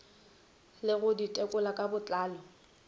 ke go ditekolo ka botlalo